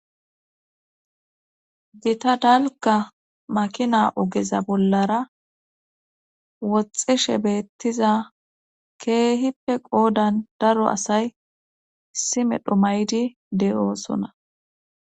Gita dalka makina ogeza bollara woxxeshe beettiza keehippe qoodan daro asay isimedho maydi de'oosona.